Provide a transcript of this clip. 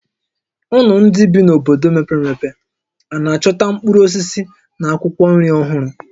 Unu ndị bi n'obodo mepere emepe a na-achọta mkpụrụ osisi na akwụkwọ nri ọhụrụ?